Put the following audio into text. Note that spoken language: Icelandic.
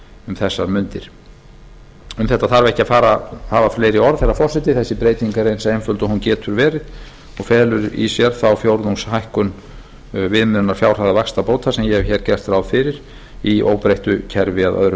um þessar mundir um þetta þarf ekki að hafa fleiri orð herra forseti þessi breyting er eins einföld og hún getur verið og felur í sér þá fjórðungshækkun viðmiðunarfjárhæðar vaxtabóta sem ég hef hér gert ráð fyrir í óbreyttu kerfi að öðru